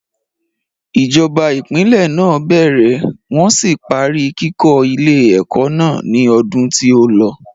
Ìjọba ìpínlè náà bẹ̀rẹ̀ wọ́n sì parí kíkó ilé ẹ̀kọ́ náà ni odun tí ó lọ.